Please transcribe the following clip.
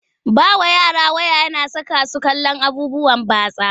Ba wa yara waya na saka su kallon abubuwan batsa.